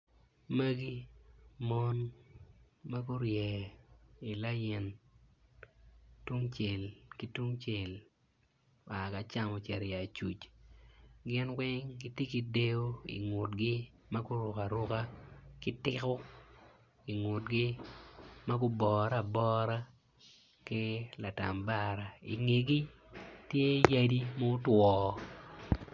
Magi mon ma gurye i lain tungcel ki tungcel oa ki acam ocito tung acuc gin weng giti ki dyeyo ingutgi ma guruku aruka ki tiku ingutgi ma gubore abora ki latambara ingeggi tye yadi mutwo